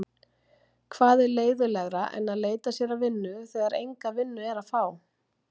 Hvað er leiðinlegra en að leita sér að vinnu þegar enga vinnu er að fá?